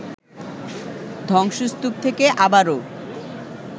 ধ্বংসস্তূপ থেকে আবারও